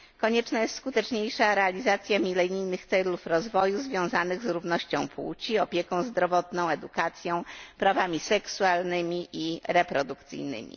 Konieczna jest skuteczniejsza realizacja milenijnych celów rozwoju związanych z równością płci, opieką zdrowotną, edukacją, prawami seksualnymi i reprodukcyjnymi.